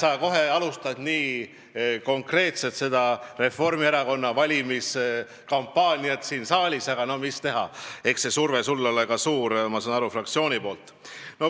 No näed, sa alustad kohe nii konkreetselt Reformierakonna valimiskampaaniat siin saalis, aga mis teha, eks surve sulle ole ka suur, ma saan aru, fraktsiooni poolt.